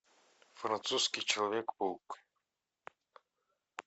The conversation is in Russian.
французский человек паук